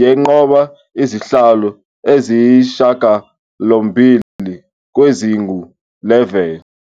yanqoba izihlalo eziyisishiyagalombili kwezingu-11.